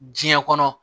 Diɲɛ kɔnɔ